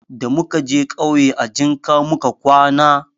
Da muka je ƙauye,a jinka muka kwana.